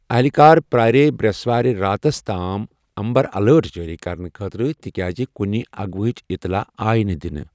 اہلِکار پیٛأرییہِ برٛسوارِ راتس تام امبر الرٹ جٲری کرنہٕ خٲطرٕ تِکیازِ کُنہِ اغوا ہٕچ اطلاع آیہِ نہٕ دِنہٕ۔